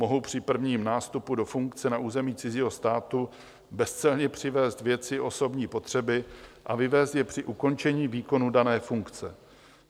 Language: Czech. Mohou při prvním nástupu do funkce na území cizího státu bezcelně přivézt věci osobní potřeby a vyvézt je při ukončení výkonu dané funkce.